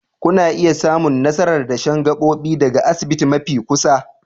Kuna iya samun nasarar dashen gabobi daga asibiti mafi kusa